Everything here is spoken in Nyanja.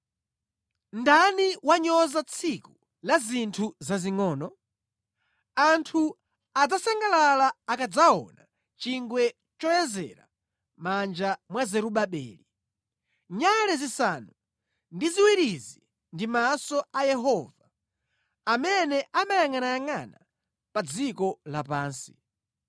“Ndani wanyoza tsiku la zinthu zazingʼono? Anthu adzasangalala akadzaona chingwe choyezera mʼmanja mwa Zerubabeli. (“Nyale zisanu ndi ziwirizi ndi maso a Yehova, amene amayangʼanayangʼana pa dziko lapansi.”)